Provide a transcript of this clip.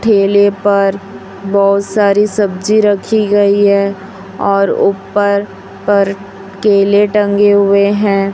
ठेले पर बहुत सारी सब्जी रखी गई है और ऊपर पर केले टंगे हुए हैं।